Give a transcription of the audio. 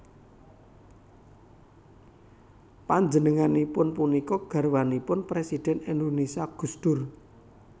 Panjenenganipun punika garwanipun Présidhèn Indonésia Gus Dur